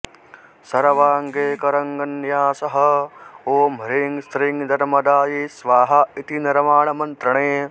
सर्वाङ्गे कराङ्गन्यासः ॐ ह्रीं श्रीं नर्मदायै स्वाहा इति नवार्णमन्त्रणे